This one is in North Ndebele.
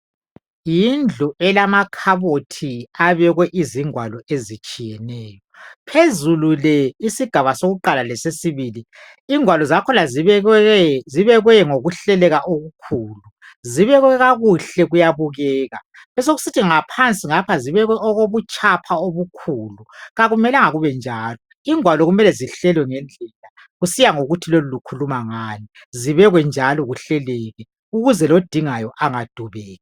Yindlu elamakhabothi abekwe izingwalo ezitshiyeneyo. Phezulu le, isigaba sokuqala lesesibili, ingwalo zakhona zibekwe ngokuhleleka okukhulu. Zibekwe kakuhle kuyabukeka. Besokusithi ngaphansi ngapha zibekwe okobutshapha obukhulu. Kakumelanga kube njalo. Ingwalo kumele zihlelwe ngendlela kusiya ngokuthi lolu lukhuluma ngani, zibekwe njalo kuhleleke, ukuze lodingayo angadubeki.